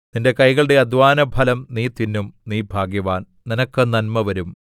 നിന്റെ കൈകളുടെ അദ്ധ്വാനഫലം നീ തിന്നും നീ ഭാഗ്യവാൻ നിനക്ക് നന്മവരും